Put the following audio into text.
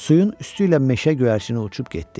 Suyun üstü ilə meşə göyərçini uçub getdi.